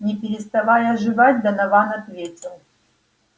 не переставая жевать донован ответил